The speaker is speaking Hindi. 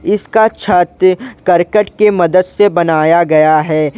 इसका छत करकट के मदद से बनाया गया है।